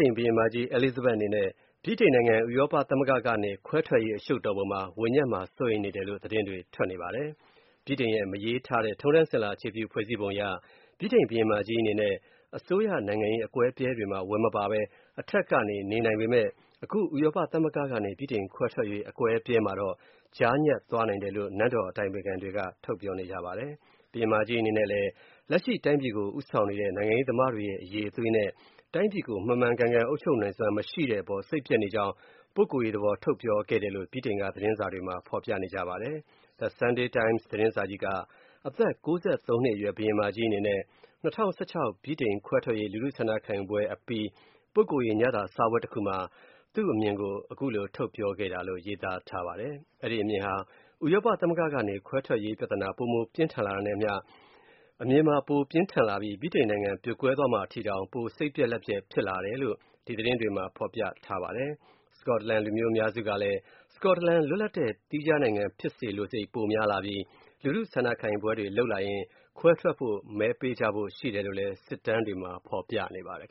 ိန် ဘုရင်မကြီး Elizabeth အနေနဲ့ ဗြိတိန်နိုင်ငံ ဥရောပသမဂ္ဂကနေထွက်ရေး အရှုပ်တော်ပုံမှာ ဝင်ညပ်မှာ စိုးရိမ်နေတယ်လို့ သတင်းတွေထွက်နေပါတယ်။ ဗြိတိန်ရဲ့ မရေးထားတဲ့ ထုံးတမ်းစဉ်လာအခြေပြု ဖွဲ့စည်းပုံအရ ဗြိတိန် ဘုရင်မကြီး Elizabeth အနေနဲ့ အစိုးရနိုင်ငံရေးအကွဲအပြဲတွေမှာ ဝင်မပါပဲ အထက်ကနေ နေနိုင်ပေမဲ့၊ အခု ဥရောပသမဂ္ဂကနေ ဗြိတိန်ခွဲထွက်ရေး အကွဲအပြဲမှာတော့၊ ကြားညပ်သွားနိုင်တယ်လို့ နန်းတော်အတိုင်ပင်ခံတွေက ပြောနေပါတယ်။ ဘုရင်မကြီးအနေနဲ့လည်း လက်ရှိတိုင်းပြည်ကို ဦးဆောင်နေတဲ့ နိုင်ငံရေးသမားတွေရဲ့ အရည်အသွေးနဲ့ တိုင်းပြည်ကို မှန်မှန်ကန်ကန် အုပ်ချုပ်နိုင်စွမ်း မရှိတဲ့အပေါ် စိတ်ပျက်နေကြောင်း ပုဂ္ဂိုလ်ရေးသဘော ထုတ်ပြောခဲ့တယ်လို့ ဗြိတိန်က သတင်းစာတွေမှာ ဖော်ပြနေပါတယ်။ The Sunday Times သတင်းစာကြီးက အသက် (၉၃) နှစ်အရွယ် ဘုရင်မကြီး အနေနဲ့ ၂၀၁၆ ဗြိတိန်ခွဲထွက်ရေး လူထုဆန္ဒခံယူပွဲအပြီး ပုဂ္ဂိုလ်ရေး ညစာစားပွဲတစ်ခုမှာ သူ့အမြင်ကို ထုတ်ပြောခဲ့တာလို့ ရေးသားထားပါတယ်။ အဲ့ဒီအမြင်ဟာ ဒီဥရောပသမဂ္ဂကနေ ခွဲထွက်ရေးပြဿနာ ပိုမိုပြင်းထန်လာတာနဲ့အမျှ ပိုမို ပြင်းထန်လာပြီး၊ ဗြိတိန်နိုင်ငံ ပြိုကွဲသွားမှာ အထိတောင် ပိုစိတ်ပျက်လက်ပျက်ဖြစ်လာတယ်လို့ ဒီသတင်းတွေမှာ ဖော်ပြထားပါတယ်။ စကော့တလန် လူမျိုး အများစုကလည်း စကော့တလန် လွတ်လပ်တဲ့သီးခြားနိုင်ငံဖြစ်စေလိုစိတ် ပိုများလာပြီး၊ လူထုဆန္ဒခံယူပွဲတွေလုပ်လာလျှင် ခွဲထွက်ဖို့ မဲပေးကြဖို့ရှိတယ်လို့လည်း စစ်တမ်းတွေမှာ ဖော်ပြနေပါတယ်